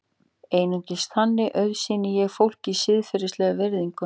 Einungis þannig auðsýni ég fólki siðferðilega virðingu.